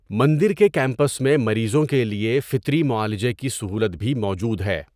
مندر کے کیمپس میں مریضوں کے لیے فطری معالجہ کی سہولت بھی موجود ہے۔